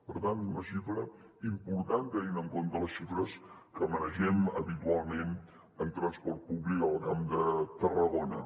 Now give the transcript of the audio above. per tant una xifra important tenint en compte les xifres que manegem habitualment en transport públic al camp de tarragona